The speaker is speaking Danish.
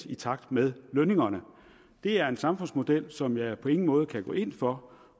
i takt med lønningerne det er en samfundsmodel som jeg på ingen måde kan gå ind for